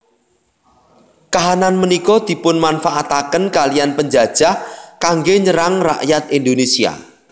Kahanan punika dipunmanfaataken kaliyan penjajah kanggé nyerang rakyat Indonésia